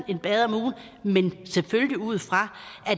selvfølgelig ud fra